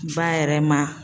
Ba yɛrɛ ma.